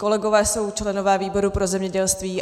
Kolegové jsou členové výboru pro zemědělství.